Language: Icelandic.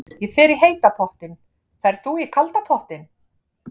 Ég fer í heita pottinn. Ferð þú í kalda pottinn?